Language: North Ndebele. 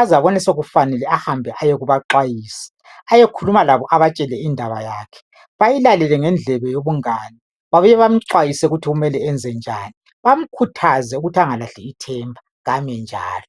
aze abone sokufanele ahambe kubaxwayisi ayekhulumalabo abatshele indaba yakhe bayilalele ngendlebe yobungane babuye bamxwayise ukuthi enze njani bamkhuthaze ukuthi engalahli ithemba kame njalo.